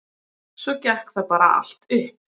Svo gekk það bara allt upp.